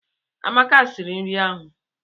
Amaka siri nri ahụ.